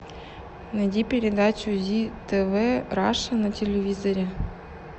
найди передачу зи тв раша на телевизоре